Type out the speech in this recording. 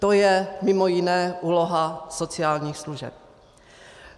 To je mimo jiné úloha sociálních služeb.